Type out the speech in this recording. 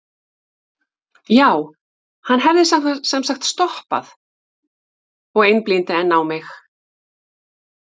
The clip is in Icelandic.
já, hann hefði sem sagt stoppað og- einblíndi enn á mig.